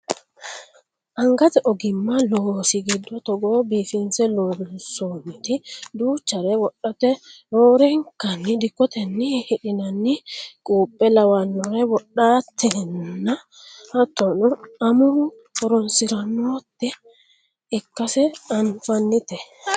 Angato ogimma loosi giddo togo biifinse loonsoonniti duuchare wodhate roorenka dikkotenni hidhinannire quuphe lawannore wodhatenna hattono amuwu horonsirannota ikkase anfannite